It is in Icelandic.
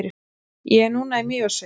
ég er núna í mývatnssveit